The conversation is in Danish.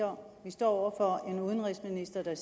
om vi står over for en udenrigsminister der